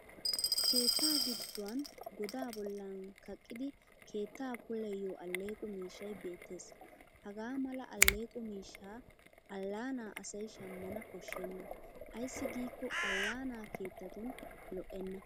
Keetta gidduwan godaa bollan kaqqidi keetta puulayiyo alleeqo miishshay beettes. Hagaa mala alleeqo miishshaa allaanaa asay shammana koshshenna ayssi giikko allaanaa keettatun lo'enna.